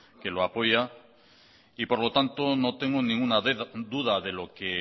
que lo apoya y por lo tanto no tengo ninguna duda de lo que